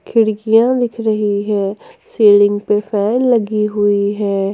खिड़कियां दिख रही है सीलिंग पे फैन लगी हुई है।